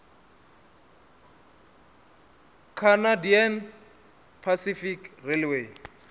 canadian pacific railway